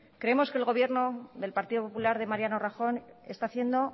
creemos que el gobierno del partido popular de mariano rajoy está haciendo